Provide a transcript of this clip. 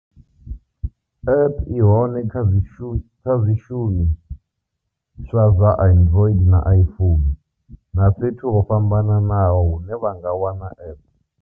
App i hone kha zwishumi swa zwa android na iphone na fhethu ho fhambanaho hune vha nga wana app.